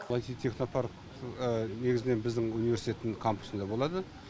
бұл айти технопарк негізінен біздің университеттің кампусында болады